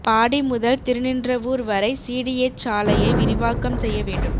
பாடி முதல் திருநின்றவூர் வரை சிடிஎச் சாலையை விரிவாக்கம் செய்ய வேண்டும்